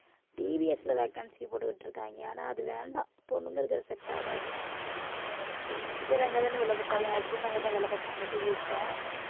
TVS ல vacancy போட்டுட்டு இருக்காங்க ஆனா அது வேண்டாம் பொண்ணுங்ககளுக்கு அது set ஆகாது வேற எங்கதானே வேலை பார்த்தாங்க என் husband அங்கதான் வேலை பார்த்தாங்க TVS ல